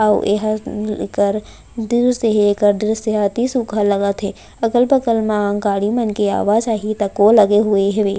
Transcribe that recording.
अउ एहा उम्म अम्म एकर दृस्य हे एकर दृश्य ह अति सुघर लगत हे अगल-बगल मा गाड़ी मन के आवा-जाही तको लगे हुए हेवे।